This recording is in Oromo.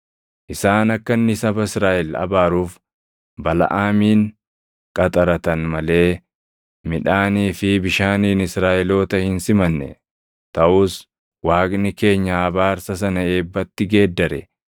isaan akka inni saba Israaʼel abaaruuf Balaʼaamin qaxaratan malee midhaanii fi bishaaniin Israaʼeloota hin simanne. Taʼus Waaqni keenya abaarsa sana eebbatti geeddare.